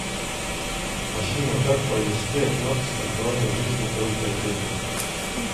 афина как провести оплату страхование жизни по ипотеке